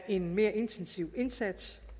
en mere intensiv indsats